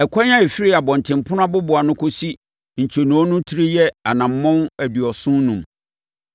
Ɛkwan a ɛfiri abɔntenpono aboboano kɔsi ntwonoo no tire yɛ anammɔn aduɔson enum.